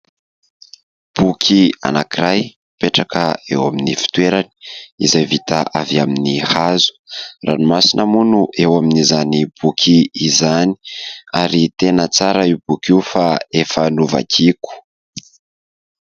Boky anakiray mipetraka eo amin'ny fitoerany, izay vita avy amin'ny hazo, ranomasina moa no eo amin'izany boky izany ary tena tsara io boky io fa efa novakiako.